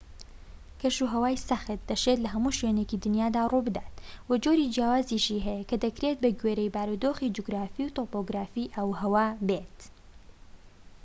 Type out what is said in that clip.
کەشوهەوای سەخت دەشێت لە هەموو شوێنێکی دنیادا ڕووبدات و جۆری جیاوازیشی هەیە کە دەکرێت بە گوێرەی بارودۆخی جوگرافی و تۆپۆۆگرافی ئاوهەوا بێت